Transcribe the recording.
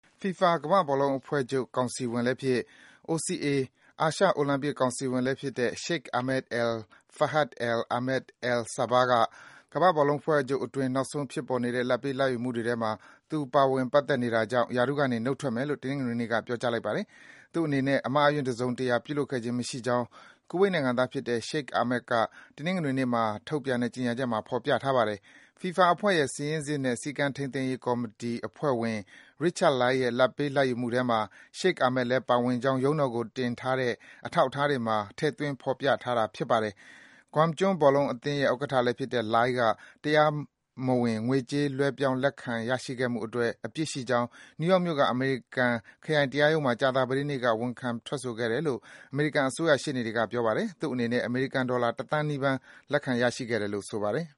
FIFA ကမ္ဘာ့ဘောလုံးအဖွဲ့ချုပ်ကောင်စီဝင်လည်းဖြစ်၊ OCA - အာရှအိုလံပစ် ကောင်စီဝင်လည်းဖြစ်တဲ့ Sheikh Ahmad Al-Fahad Al-Ahmed Al-Sabah က ကမ္ဘာ့ဘောလုံးအဖွဲ့ချုပ်အတွင်း နောက်ဆုံး ဖြစ်ပေါ်နေတဲ့ လာဘ်ပေး လာဘ်ယူမှုတွေထဲမှာ သူ ပါဝင် ပတ်သက်နေတဲ့အတွက် ရာထူးအားလုံးကနေ နှုတ်ထွက်မယ်လို့ တနင်္ဂနွေနေ့မှာ ပြောကြားလိုက်ပါတယ်။ သူ့အနေနဲ့ အမှားအယွင်း တစုံတရာ ပြုလုပ်ခဲ့ခြင်းမရှိကြောင်း ကူဝိတ်နိုင်ငံသားဖြစ်တဲ့ Sheikh Ahmad က တနင်္ဂနွေနေ့မှာ ထုတ်ပြန်တဲ့ ကြေညာချက်မှာ ဖော်ပြထားပါတယ်။ FIFA အဖွဲ့ရဲ့ စာရင်းစစ်နဲ့ စည်းကမ်းထိန်းသိမ်းရေး ကော်မတီအဖွဲ့ဝင် Richard Lai ရဲ့ လာဘ်ပေး လာဘ်ယူမှုထဲမှာ Sheikh Ahmad လည်း ပါဝင်ကြောင်း ရုံးတော်ကိုတင်တဲ့ အထောက်အထားတွေမှာ ထည့်သွင်း ဖော်ပြထားတာ ဖြစ်ပါတယ်။ Guam ကျွန်း ဘောလုံးအသင်းရဲ့ ဥက္ကဋ္ဌလည်းဖြစ်တဲ့ Lai က တရားမဝင် ငွေကြေး လွဲပြောင်း လက်ခံ ရရှိခဲ့မှုအတွက် အပြစ်ရှိကြောင်း နယူးယောက်မြို့က အမေရိကန် ခရိုင်တရားရုံးမှာ ကြာသပတေးနေ့က ဝန်ခံခဲ့တယ်လို့ အမေရိကန် အစိုးရရှေ့နေတွေက ပြောပါတယ်။ သူ့အနေနဲ့ အမေရိကန် ဒေါ်လာ ၁ သန်းနီးပါး လက်ခံရရှိခဲ့တယ်လို့ ဆိုပါတယ်။